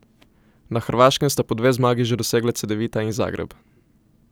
Na Hrvaškem sta po dve zmagi že dosegla Cedevita in Zagreb.